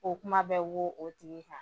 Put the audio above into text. O kuma bɛ wo o tigi kan